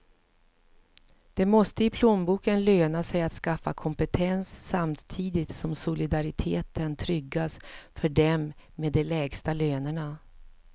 Det måste i plånboken löna sig att skaffa kompetens, samtidigt som solidariteten tryggas för dem med de lägsta lönerna.